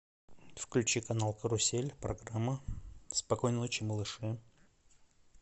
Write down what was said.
включи канал карусель программа спокойной ночи малыши